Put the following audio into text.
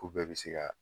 K'u bɛɛ bɛ se ka